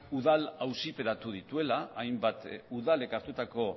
udal auziperatu dituela hainbat udalek hartutako